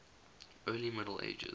early middle ages